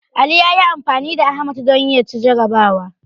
Ali ya yi anfani da Ahmad don ya ci jarrabawa.